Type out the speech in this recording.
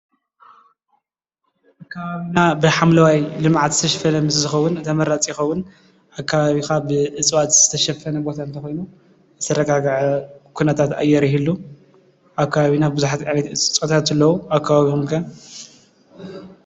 ከባቢና ብሓምለዋይ ልምዓት ዝተሸፈነ ምስ ዝኸውን ተመራፂ ይኸውን። ኣከባቢካ ብእፅዋት ዝተሸፈነ ቦታ እንተኮይኑ ዝተረጋገዐ ኩነታት ኣየር ይህሉ። ኣብ ከባቢና ብዙሓት ዓይነት እፅዋት ኣለው። ኣብ ከባቢኹም ከ?